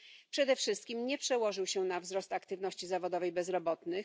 Przede wszystkim nie przełożył się na wzrost aktywności zawodowej bezrobotnych.